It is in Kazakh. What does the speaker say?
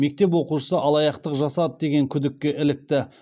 мектеп оқушысы алаяқтық жасады деген күдікке ілікті